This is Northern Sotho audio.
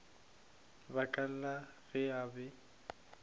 baka la ge a be